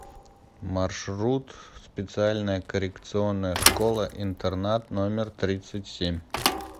маршрут специальная коррекционная школа интернат номер тридцать семь